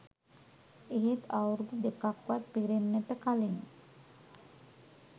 එහෙත් අවුරුදු දෙකක්වත් පිරෙන්නට කලින්